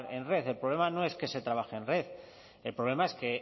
en red el problema no es que se trabaje en red el problema es que